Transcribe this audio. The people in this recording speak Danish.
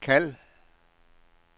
kald